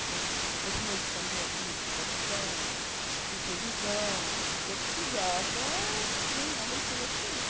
Então, nesse meio de caminho, eu fiz tradução, fiz revisão, porque eu precisava ganhar o leitinho das crianças.